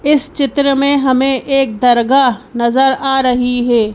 इस चित्र में हमें एक दरगाह नजर आ रही है।